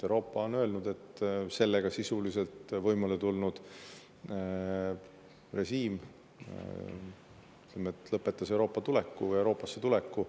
Euroopa on öelnud, et sellega võimule tulnud režiim sisuliselt lõpetas Euroopasse tuleku.